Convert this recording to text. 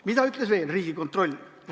Mida ütles Riigikontroll veel?